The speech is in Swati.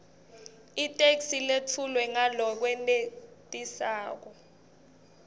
itheksthi letfulwe ngalokwenetisako